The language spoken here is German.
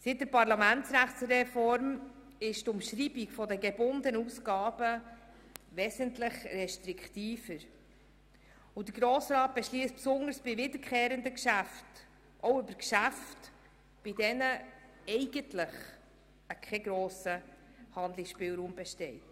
Seit der Parlamentsrechtsreform ist die Umschreibung der gebundenen Ausgaben wesentlich restriktiver, und der Grosse Rat beschliesst insbesondere bei wiederkehrenden Geschäften auch über Geschäfte, bei denen eigentlich kein grosser Handlungsspielraum besteht.